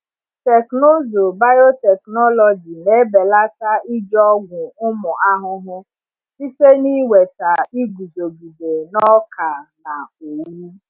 Teknụzụ biotechnology na-ebelata iji ọgwụ ụmụ ahụhụ site n’iweta iguzogide n’ọka na owu.